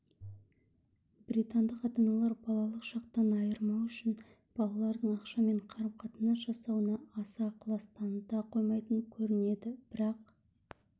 британдық ата-аналар балалық шақтан айырмау үшін балалардың ақшамен қарым-қатынас жасауына аса ықылас таныта қоймайтын көрінеді бірақ